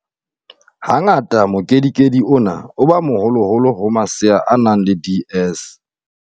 Ha ngata mokedikedi ona o ba moholoholo ho masea a nang le DS.